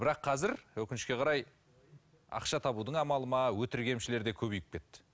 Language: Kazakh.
бірақ қазір өкінішке қарай ақша табудың амалы ма өтірік емшілер де көбейіп кетті